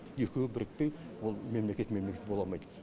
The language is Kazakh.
екеуі бірікпей ол мемлекет мемлекет бола алмайды